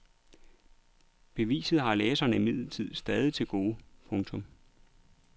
Beviset har læserne imidlertid stadig til gode. punktum